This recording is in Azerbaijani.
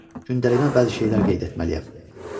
Gündəliyimə bəzi şeylər qeyd etməliyəm.